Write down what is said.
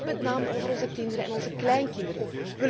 Het gaat met name over onze kinderen en onze kleinkinderen.